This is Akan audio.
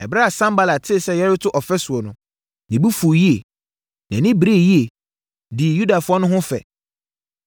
Ɛberɛ a Sanbalat tee sɛ yɛreto ɔfasuo no, ne bo fuu yie. Nʼani beree yie, dii Yudafoɔ no ho fɛ,